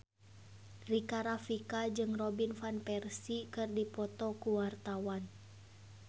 Rika Rafika jeung Robin Van Persie keur dipoto ku wartawan